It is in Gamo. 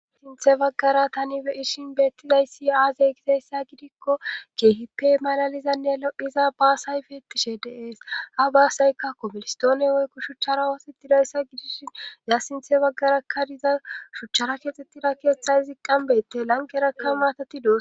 sinthe baggara tani beyishin beettidayssi aazey gizayssa gidikko keehipe malalizanne lo7iza baasay beetishe deees ha baasayka komilistoone woykko shuchchara wosittidayssa gidishin ya sinthe baggarakka diza shuchara keexxettida keeththay izi qambete lanqerakka maatatido